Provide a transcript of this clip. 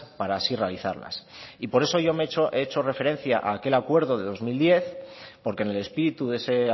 para así realizarlas y por eso yo he hecho referencia a aquel acuerdo de dos mil diez porque en el espíritu de ese